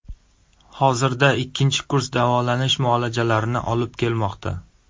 Hozirda ikkinchi kurs davolanish muolajalarini olib kelmoqda.